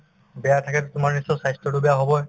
বেয়া থাকে তোমাৰ নিশ্চয় স্বাস্থ্যতো বেয়া হবয়ে